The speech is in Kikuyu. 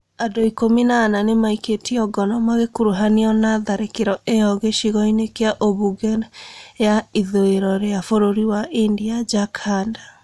Andũ ikumi na ana nĩmaikĩitio ngono magĩkuruhanio na tharĩkĩro ĩyo gĩcigo-inĩ kĩa ũmbunge ya ithũĩrobkĩa bũrũri wa India Jharkhand